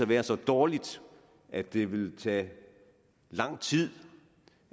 være så dårligt at det vil tage lang tid